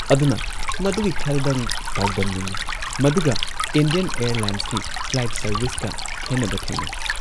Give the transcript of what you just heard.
ꯑꯗꯨꯅ ꯃꯗꯨꯒꯤ ꯈꯔꯗꯪ ꯄꯥꯎꯗꯝꯅꯤꯡꯏ ꯃꯗꯨꯒ ꯏꯟꯗꯤꯌꯥꯟ ꯑꯦꯌꯔꯂꯥꯏꯟꯁꯀꯤ ꯐ꯭ꯂꯥꯏꯠ ꯁꯥꯔꯚꯤꯁꯀ ꯈꯦꯟꯅꯕ ꯊꯦꯡꯅꯩ ꯫